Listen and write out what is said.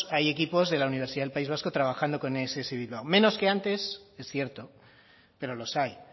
hay equipos de la universidad del país vasco trabajando con ess bilbao menos que antes es cierto pero los hay